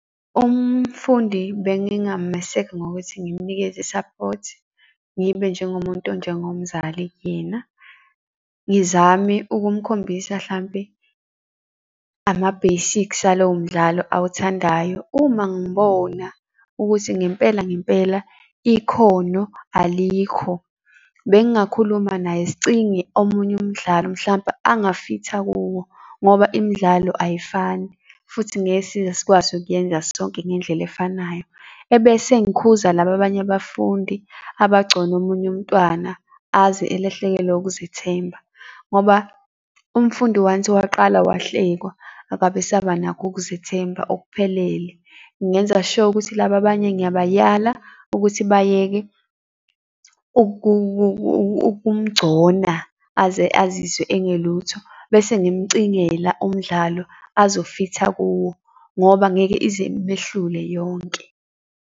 Umfundi bengingameseka ngokuthi ngimunikeze i-support, ngibe njengomuntu onjengomzali kuyena. Ngizame ukumkhombisa hlampe ama-basics alowomdlalo awuthandayo. Uma ngibona ukuthi ngempela, ngempela ikhono alikho bengingakhuluma naye sicinge omunye umdlalo mhlampe angafitha kuwo ngoba imidlalo ayifani futhi ngeke size sikwazi ukuyenza sonke ngendlela efanayo. Ebese ngikhuza laba banye abafundi abagcona omunye umntwana aze elahlekelwe ukuzithemba, ngoba umfundi once waqala wahlekwa akabesabanakho ukuzithemba okuphelele. Ngingenza sure ukuthi laba banye ngiyabayala ukuthi bayeke ukumgcona aze azizwe engelutho. Bese ngimcingela umdlalo azofitha kuwo ngoba ngeke ize imehlule yonke.